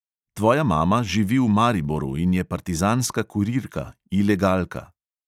Tvoja mama živi v mariboru in je partizanska kurirka – ilegalka.